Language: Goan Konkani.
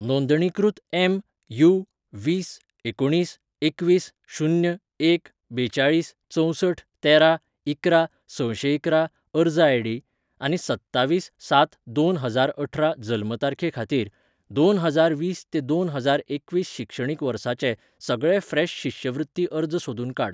नोंदणीकृत एम.यू. वीस एकुणीस एकवीस शून्य एक बेचाळीस चंवसठ तेरा इकरा सशेंइकरा अर्ज आय.डी आनी सत्तावीस सात दोन हजारअठरा जल्म तारखे खातीर, दोन हजार वीस ते दोन हजार एकवीस शिक्षणीक वर्साचे सगळे फ्रेश शिश्यवृत्ती अर्ज सोदून काड.